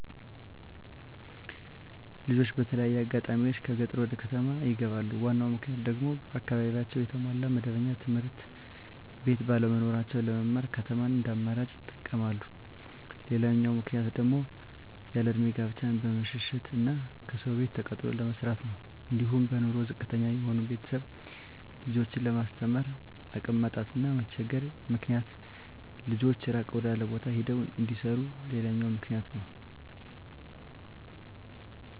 ልጆች በተለያየ አጋጣሚዎች ከገጠር ወደከተማ ይገባሉ ዋናው ምክንያቱም ደግሞ በአካባቢያቸው የተሟላ መደበኛ ትምህርትቤት ባለመኖራቸው ለመማር ከተማን እንደአማራጭ ይጠቀመማሉ። ሌላው ምክንያት ደግሞ ያለእድሜ ጋብቻን በመሸሸት እና ከሰው ቤት ተቀጥሮ ለመስራት ነው። አንዲሁም በኑሮ ዝቅተተኛ የሆኑ ቤተሰብ ልጆችን ለማስተማር አቅም ማጣት እና መቸገር ምክንያት ልጆች እራቅ ወዳለው ቦታ ሄደው እንዲሰሩ ሌላውኛው ምክንያት ነው።